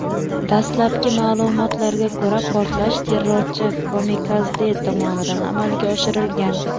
Dastlabki ma’lumotlarga ko‘ra, portlash terrorchi-kamikadze tomonidan amalga oshirilgan.